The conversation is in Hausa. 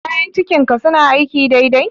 Kayan cikin ka suna aiki dai dai?